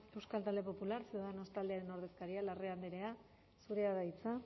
euskal talde popular ciudadanos taldearen ordezkaria larrea andrea zurea da hitza